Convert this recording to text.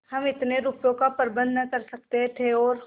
हम इतने रुपयों का प्रबंध न कर सकते थे और